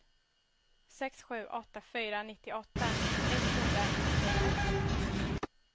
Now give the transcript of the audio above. sex sju åtta fyra nittioåtta etthundranittionio